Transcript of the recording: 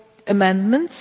amendments.